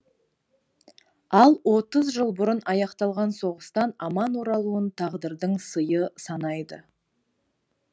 ал отыз жыл бұрын аяқталған соғыстан аман оралуын тағдырдың сыйы санайды